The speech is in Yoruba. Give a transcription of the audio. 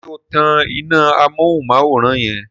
ṣe o tán iná Amóhuntutù yen?